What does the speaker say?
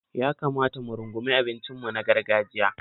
Ya kamata mu rungumi abincinmu na gargajiya.